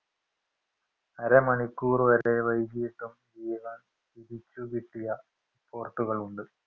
അര മണിക്കൂർ വരെ വൈകിയിട്ടും ജീവൻ തിരിച്ചു കിട്ടിയ കളുണ്ട്